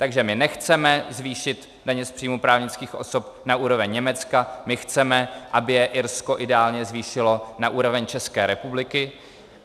Takže my nechceme zvýšit daně z příjmů právnických osob na úroveň Německa, my chceme, aby je Irsko ideálně zvýšilo na úroveň České republiky.